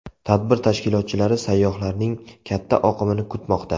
Tadbir tashkilotchilari sayyohlarning katta oqimini kutmoqda.